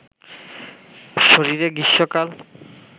শরীরে গ্রীষ্মকাল